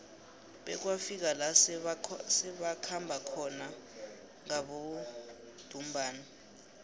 bekwafika la sebakhamba khona ngabodumbana